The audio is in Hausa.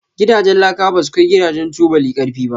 Gidajen laka basu kai Gidajen tubuli karfi ba.